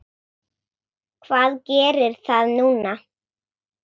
Hvað gerir það núna?